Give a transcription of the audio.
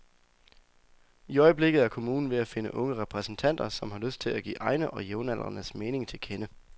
I øjeblikket er kommunen ved at finde unge repræsentanter, som har lyst til at give egne og jævnaldrendes mening til kende.